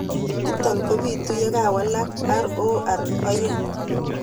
Nito ko pitu ye walak ROR2